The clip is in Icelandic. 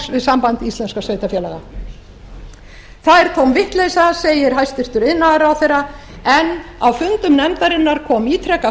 við samband íslenskra sveitarfélaga það er tóm vitleysa segir hæstvirtur iðnaðarráðherra en á fundum nefndarinnar kom ítrekað